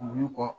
Wulu kɔ